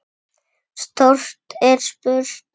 Stórt er spurt.